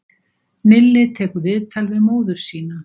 Nilli tekur viðtal við móður sína